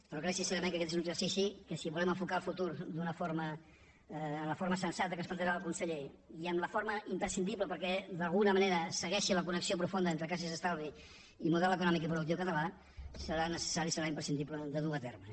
però crec sincerament que aquest és un exercici que si volem enfocar el futur amb la forma sensata que ens plantejava el conseller i amb la forma imprescindible perquè d’alguna manera segueixi la connexió profunda entre caixes d’estalvis i model econòmic i productiu català serà necessari serà imprescindible dur a terme